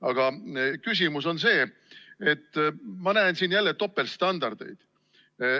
Aga küsimus on selle kohta, et ma näen siin jälle topeltstandardeid.